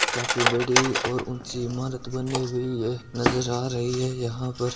काफी बड़ी और ऊंची इमारत बनी हुई है नजर आ रही है यहां पर--